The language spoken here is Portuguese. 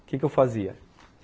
O que que eu fazia?